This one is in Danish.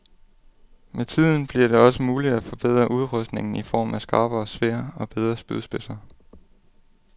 Med tiden bliver det også muligt at forbedre udrustningen i form af skarpere sværd og bedre spydspidser.